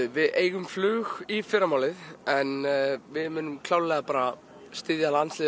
við eigum flug í fyrramálið en við munum klárlega styðja landsliðið